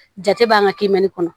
Jate b'an ka kiimɛni kɔnɔ